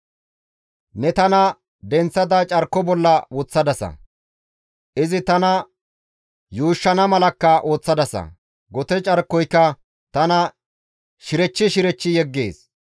Ne tana denththada carko bolla woththadasa; izi tana yuushshana malakka ooththadasa; gote carkoyka tana shirechchi shirechchi yeggees.